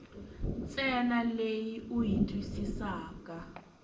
ntsena leyi u yi twisisaka